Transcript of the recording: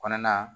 Kɔnɔna